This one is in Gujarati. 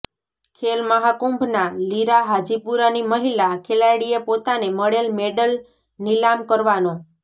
ખેલ મહાકુંભના લીરા હાજીપુરાની મહિલા ખેલાડીએ પોતાને મળેલ મેડલ નિલામ કરવાનો